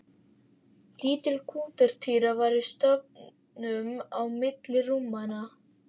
Lítil grútartýra var í stafninum milli rúmanna.